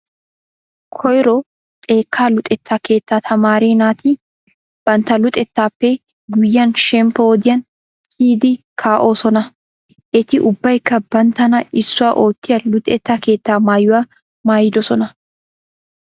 Koyro xekkaa luxettaa keettaa tamaare naati bantta luxettaappe guyyiyan shemppo wodiyan kiyidi kaa''oosona. Eti ubbaykka banttana issuwa oottiya luxetta keettaa maayuwa maayidosona.